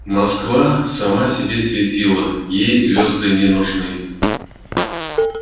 москва сама себе светила ей звезды не нужны